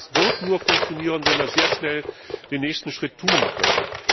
Es wird nur funktionieren, wenn wir sehr schnell den nächsten Schritt tun können.